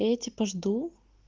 и я типо жду